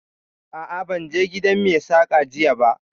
A'a, ban je gidan Mai saƙan jiya ba